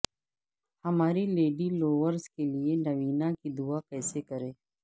ہماری lady Lourdes کے لئے نوینا کی دعا کیسے کریں